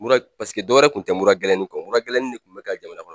Mura paseke dɔwɛrɛ kun tɛ mura gɛlɛnin kɔ mura gɛlɛnin ne kun bɛ ka jamana kɔnɔ